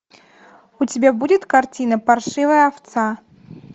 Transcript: у тебя будет картина паршивая овца